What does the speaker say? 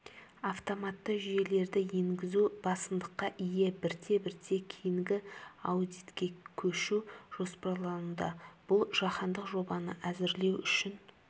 автоматты жүйелерді енгізу басымдыққа ие бірте-бірте кейінгі аудитке көшу жоспарлануда бұл жаһандық жобаны әзірлеу үшін